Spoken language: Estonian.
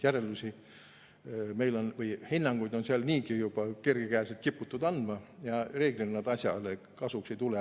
Järeldusi on tehtud või hinnanguid on seal kiputud andma niigi juba kergekäeliselt ja reeglina see asjale kasuks ei tule.